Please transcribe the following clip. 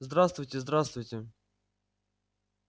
здравствуйте здравствуйте